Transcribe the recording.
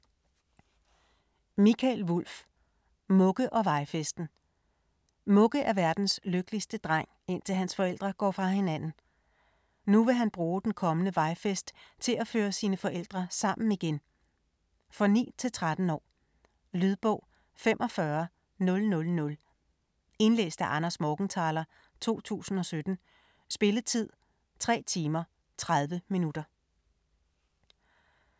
Wulff, Mikael: Mugge & vejfesten Mugge er verdens lykkeligste dreng, indtil hans forældre går fra hinanden. Nu vil han bruge den kommende vejfest til at føre sine forældre sammen igen. For 9-13 år. Lydbog 45000 Indlæst af Anders Morgenthaler, 2017. Spilletid: 3 timer, 30 minutter.